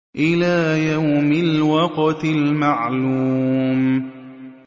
إِلَىٰ يَوْمِ الْوَقْتِ الْمَعْلُومِ